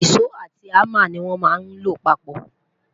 iso àti hamá ní wón má ló papó